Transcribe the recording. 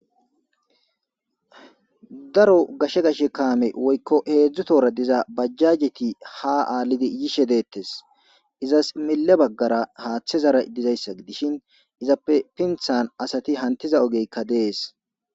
Daro gashe gashe kaame woykko heedzdzu tora diza bajjajeti ha aallidi yishe deettes izas mille baggara haaththe zara dizayssa gidishin izappe pinthan asati hantiza ogeykka dees.